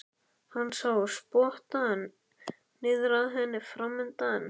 Hann sá spottann niður að henni framundan.